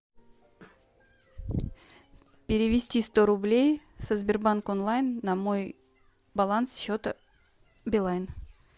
перевести сто рублей со сбербанк онлайн на мой баланс счета билайн